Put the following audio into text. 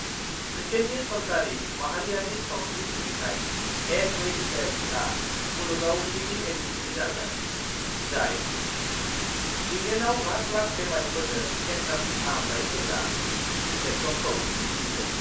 ब्रिटेइननि सरकारि माहारियारि सावस्त्रि सिबिथाइ (एनएइसएस)आ मुलुगाव गिबि एजेन्सि जागोन, जाय इंलेन्डआव लाख-लाख बेमारिफोरनो केन्सारनि फाहामथाय होग्रा इन्जेक्सनखौ दिन्थिगोन।